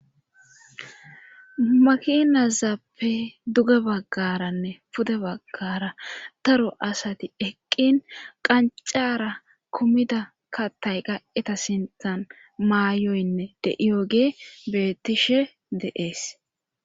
Makinazappe duge baggaranne pude baggara taro asati eqqin qancara kummida katay qa7eta sinthan maayoynne de7iyo gee bettishe deees.